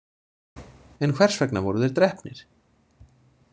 En hvers vegna voru þeir drepnir?